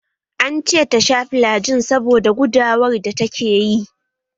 An ce tasha filagil saboda gudawar da ta ke yi